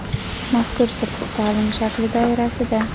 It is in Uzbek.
Mazkur sirtqi taʼlim shakli doirasida:.